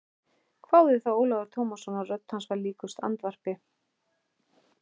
hváði þá Ólafur Tómasson og rödd hans var líkust andvarpi.